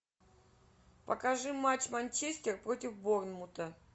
покажи матч манчестер против борнмута